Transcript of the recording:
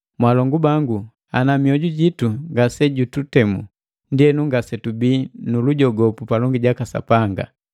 Mwaalongu bangu, ana miojujitu ngase jututemu, ndienu, ngasetubii nulujogopu palongi jaka Sapanga,